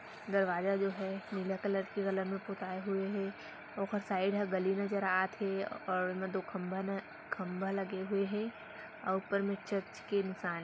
दरवाजा जो है नीला कलर म पोताए हुए हे ओखर साइड हा गली नजर आत हे और म दो खम्भा म खम्भा लगे हुए हे अउ ऊपर म चर्च के निशान हे।